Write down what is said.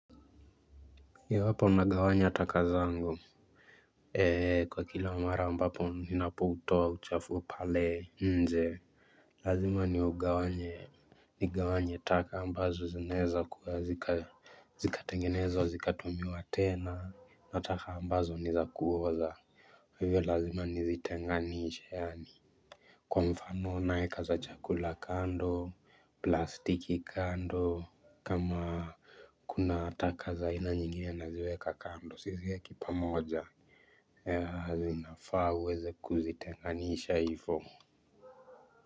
Iwapo nagawanya ataka zangu ee kwa kila mara ambapo ninapo toa uchafu pale nje lazima niugawanye nigawanye taka ambazo zinaeza kuwa zika zikatengenezwa zikatumiwa tena na taka ambazo niza kuoza hivyo lazima nizitenganisha yaani kwa mfano naeka za chakula kando plastiki kando. Kama kuna taka za aina nyingine naziweka kando siziweki pamoja. Hazinafa uweze kuzitenganisha hifo.